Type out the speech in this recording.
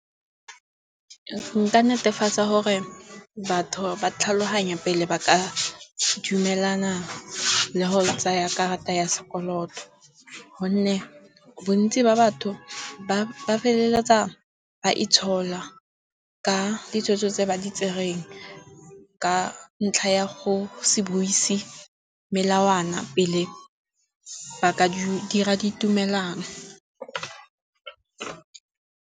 Nka netefatsa gore batho ba tlhaloganya pele ba ka dumelana le go tsaya karata ya sekoloto. Gonne bontsi ba batho ba feleletsa ba itshola ka ditso tse ba di tsereng ka ntlha ya go se buise melawana pele ba ka dira di tumelano.